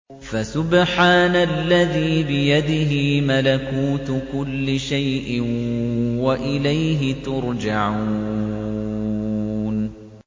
فَسُبْحَانَ الَّذِي بِيَدِهِ مَلَكُوتُ كُلِّ شَيْءٍ وَإِلَيْهِ تُرْجَعُونَ